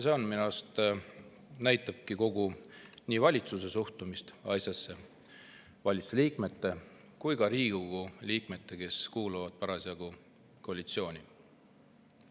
See minu arust näitabki kogu valitsuse ehk valitsuse liikmete suhtumist ja ka nende Riigikogu liikmete suhtumist, kes kuuluvad parasjagu koalitsiooni.